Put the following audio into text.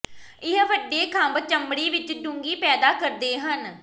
ਇਹ ਵੱਡੇ ਖੰਭ ਚਮੜੀ ਵਿਚ ਡੂੰਘੀ ਪੈਦਾ ਕਰਦੇ ਹਨ